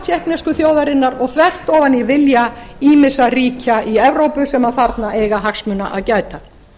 tékknesku þjóðarinnar og þvert ofan í vilja ýmissa ríkja í evrópu sem þarna eiga hagsmuna að gæta